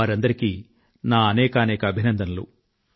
వారందరికీ నా హృదయపూర్వక అభినందనలు